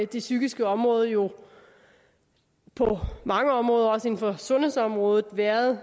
det psykiske område jo på mange områder også inden for sundhedsområdet været